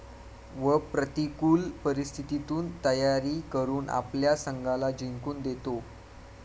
व प्रतिकूल परिस्थितीतून तयारी करून आपल्या संघाला जिंकून देतो.